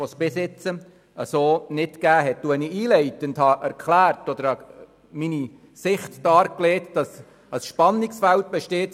In meiner Einleitung hatte ich meine Auffassung dargelegt, dass zwischen Freiheit und Sicherheit ein Spannungsfeld besteht.